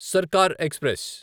Sarkar express